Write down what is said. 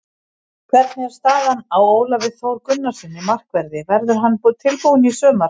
Hvernig er staðan á Ólafi Þór Gunnarssyni, markverði, verður hann tilbúinn í sumar?